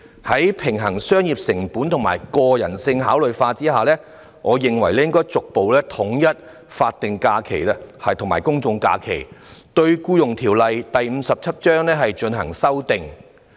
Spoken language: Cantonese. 在平衡商業成本及人性化考量後，我認為應逐步統一法定假日及公眾假期，對《僱傭條例》作出修訂。